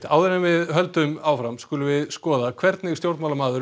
áður en við höldum áfram skulum við skoða hvernig stjórnmálamaður